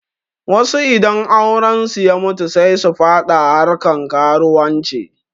Wasu idan aurensu ya mutu sai su faɗa harkan karuwanci